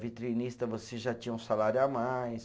Vitrinista, você já tinha um salário a mais.